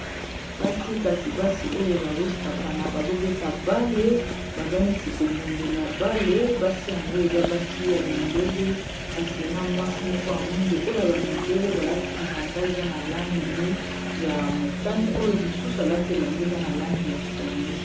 Basi, kasi basi oyo bazo sakana bazobeta bale baza neti ko bundela bale basi yango eza basi ya mindele kasi na mwasi moko ya mwindo oyo ya ba mindele balati bilamba eza na langi ya motane oyo mosusu alati elamba eza na langi ya pondu.